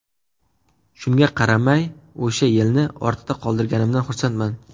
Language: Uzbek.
Shunga qaramay, o‘sha yilni ortda qoldirganimdan xursandman.